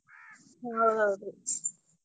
ಹಾ ಹೌದ್ರೀ.